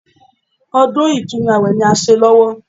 Ọdún Ìtúnu àwẹ̀ ni à ń ṣe lọ́wọ́